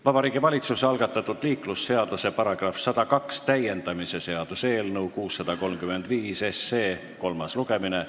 Vabariigi Valitsuse algatatud liiklusseaduse § 102 täiendamise seaduse eelnõu 635 kolmas lugemine.